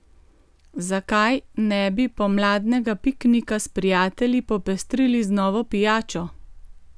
Zakaj ne bi pomladnega piknika s prijatelji popestrili z novo pijačo?